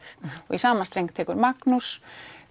í sama streng tekur Magnús